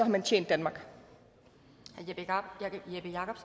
man tjent danmark har